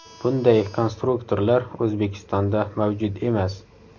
Bunday konstruktorlar O‘zbekistonda mavjud emas.